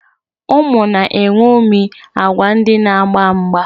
Ụmụ na-eṅomie agwa ndị na-agba mgba.